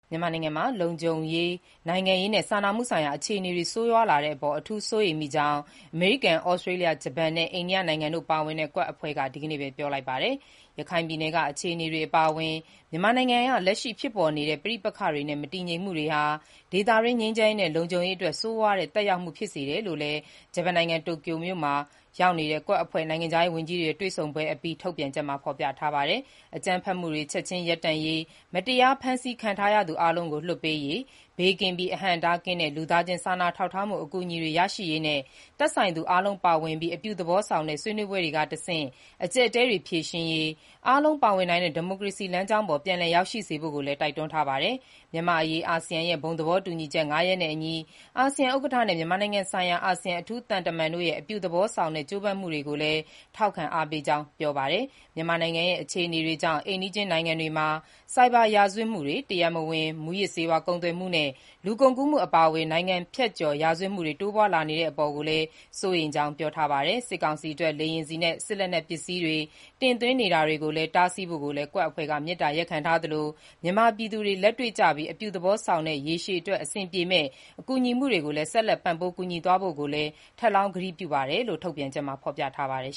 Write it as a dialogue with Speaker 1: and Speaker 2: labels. Speaker 1: မြန်မာနိုင်ငံမှာ နိုင်ငံရေး၊ လုံခြုံရေးနဲ့ စာနာမှုဆိုင်ရာ အခြေအနေတွေ ဆိုးရွားလာတဲ့အပါ် အထူးစိုးရိမ်ကြောင်း အမေရိကန်၊ သြစတြေးလျ၊ ဂျပန် နဲ့ အိန္ဒိယနိုင်ငံတို့ပါဝင်တဲ့ QUAD အဖွဲ့က ဒီကနေ့ပဲ ပြောလိုက်ပါတယ်။ ရခိုင်ပြည်နယ်က အခြေအနေတွေ အပါအဝင် မြန်မာနိုင်ငံရဲ့ လက်ရှိဖြစ်ပေါ်နေတဲ့ ပဋိပက္ခတွေနဲ့ မတည်ငြိမ်မှုတွေဟာ ဒေသတွင်း ငြိမ်းချမ်းရေးနဲ့ လုံခြုံရေးအတွက် ဆိုးရွားတဲ့ သက်ရောက်မှု ဖြစ်စေတယ်လို့လည်း ဂျပန်နိုင်ငံ တိုကျိုမြို့မှာ QUAD အဖွဲ့ရဲ့ နိုင်ငံခြားရေးဝန်ကြီးတွေရဲ့ တွေ့ဆုံပွဲအပြီး ထုတ်ပြန်ချက်မှာ ဖော်ပြထားတာပါ။ အကြမ်းဖက်မှုတွေ ချက်ချင်းရပ်တန့်ရေး၊ မတရားဖမ်းဆီးခံထားရသူအားလုံးကို လွှတ်ပေးရေး၊ ဘေးကင်းပြီး အဟန့်အတားကင်းသော လူသားချင်းစာနာထောက်ထားမှုအကူအညီတွေ ရရှိရေးနဲ့၊ သက်ဆိုင်သူအားလုံးပါဝင်ပြီး အပြုသဘောဆောင်တဲ့ ဆွေးနွေးပွဲတွေက တဆင့် အကျပ်အတည်း ဖြေရှင်းရေး၊ အားလုံးပါဝင်နိုင်တဲ့ ဒီမိုကရေစီ လမ်းကြောင်းပေါ် ပြန်လည်ရောက်ရှိစေဖို့ကိုလည်း တိုက်တွန်းထားပါတယ်။ မြန်မာ့အရေး အာဆီယံရဲ့ ဘုံသဘောတူညီချက် ၅ ရပ်နဲ့အညီ အာဆီယံဥက္ကဋ္ဌနဲ့ မြန်မာနိုင်ငံဆိုင်ရာ အာဆီယံ အထူးသံတမန်တို့ရဲ့ အပြုသဘောဆောင်တဲ့ ကြိုးပမ်းမှုတွေကို ထောက်ခံ အားပေးကြောင်းလည်း ပြောပါတယ်။ မြန်မာနိုင်ငံရဲ့ အခြေအနေတွေကြောင့် အိမ်နီးချင်းနိုင်ငံတွေမှာ ဆိုက်ဘာရာဇဝတ်မှု၊ တရားမဝင် မူးယစ်ဆေးဝါး ကုန်သွယ်မှုနှင့် လူကုန်ကူးမှု အပါအဝင် နိုင်ငံဖြတ်ကျော် ရာဇဝတ်မှုများ တိုးပွားလာနေတဲ့အပေါ်ကိုလည်း စိုးရိမ်ကြောင်းလည်း ပြောပါတယ်။ စစ်ကောင်စီအတွက် လေယာဉ်ဆီနဲ့ စစ်လက်နက်ပစ္စည်းတွေ တင်သွင်းနေတာတွေကိုလည်း တားဆီးဖို့ကိုလည်း QUAD အဖွဲ့က မေတ္တာရပ်ခံထားသလို မြန်မာပြည်သူတွေ လက်တွေ့ကျပြီး အပြုသဘောဆောင်တဲ့ ရေရှည်အတွက် အဆင်ပြေမယ့် ကူညီမှုတွေနဲ့ ဆက်လက်ပံ့ပိုးကူညီသွားဖို့ကိုလည်း ထပ်လောင်းကတိပြုပါတယ်လို့ ထုတ်ပြန်ချက်မှာ ဖော်ပြထားပါတယ်